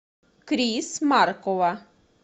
крис маркова